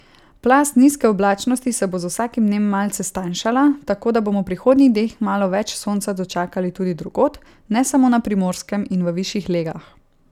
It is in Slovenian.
Plast nizke oblačnosti se bo z vsakim dnem malce stanjšala, tako da bomo v prihodnjih dneh malo več sonca dočakali tudi drugod, ne samo na Primorskem in v višjih legah.